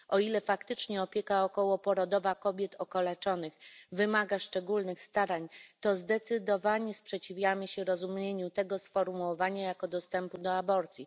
O ile faktycznie opieka okołoporodowa kobiet okaleczonych wymaga szczególnych starań, to zdecydowanie sprzeciwiamy się rozumieniu tego sformułowania jako dostępu do aborcji.